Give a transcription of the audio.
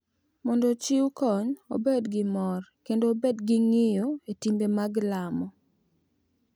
Mondo ochiw kony, obed gi mor, kendo obed gi ng’iyo e timbe mag lamo.